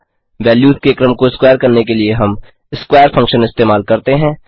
values के क्रम को स्क्वायर करने के लिए हम स्क्वेयर फंक्शन इस्तेमाल करते हैं